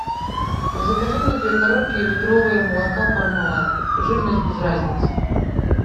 закажи мне две коробки литровые молока пармалат жирность без разницы